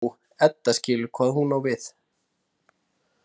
Jú, Edda skilur hvað hún á við.